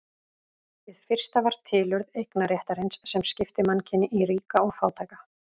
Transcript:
Hið fyrsta var tilurð eignarréttarins sem skipti mannkyni í ríka og fátæka.